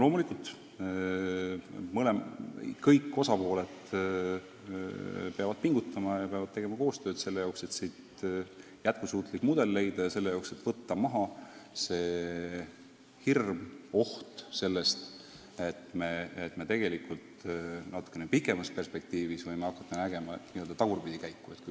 Loomulikult peavad kõik osapooled pingutama ja tegema koostööd, et jätkusuutlik mudel leida, et võtta maha hirm, et me millalgi natukene pikemas perspektiivis võime hakata nägema tagurpidikäiku.